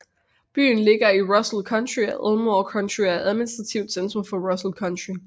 Byen ligger i Russell County og Elmore County og er administrativt centrum for Russell County